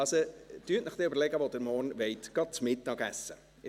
Also: Überlegen Sie sich, wo Sie morgen zu Mittag essen wollen.